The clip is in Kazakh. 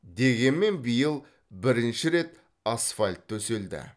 дегенмен биыл бірінші рет асфальт төселді